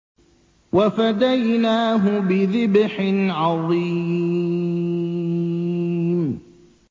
وَفَدَيْنَاهُ بِذِبْحٍ عَظِيمٍ